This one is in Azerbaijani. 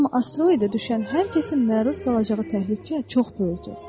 Amma asteroide düşən hər kəsin məruz qalacağı təhlükə çox böyükdür.